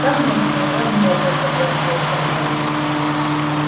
конечно невозможно согласился мэтт